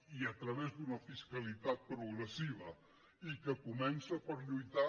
i a través d’una fiscalitat progressiva i que comença per lluitar